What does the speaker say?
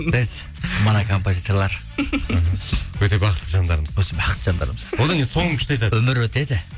біз мына композиторлар өте бақытты жандармыз өте бақытты жандармыз одан кейін соңын күшті айтады өмір өтеді